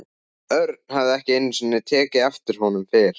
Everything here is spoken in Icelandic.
Örn hafði ekki einu sinni tekið eftir honum fyrr.